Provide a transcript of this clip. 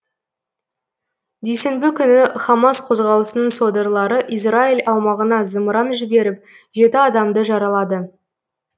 дүйсенбі күні хамас қозғалысының содырлары израиль аумағына зымыран жіберіп жеті адамды жаралады